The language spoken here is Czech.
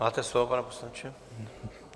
Máte slovo, pane poslanče.